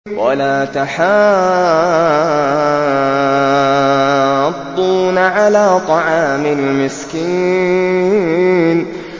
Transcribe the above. وَلَا تَحَاضُّونَ عَلَىٰ طَعَامِ الْمِسْكِينِ